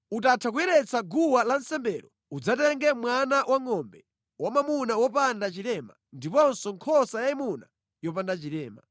Utatha kuyeretsa guwa lansembelo, udzatenge mwana wangʼombe wamwamuna wopanda chilema ndiponso nkhosa yayimuna yopanda chilema.